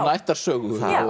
ættarsögu